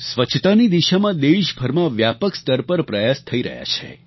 સ્વચ્છતાની દિશામાં દેશભરમાં વ્યાપક સ્તર પર પ્રયાસ થઈ રહ્યા છે